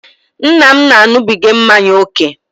Nna m na-aṅụbiga mmanya oke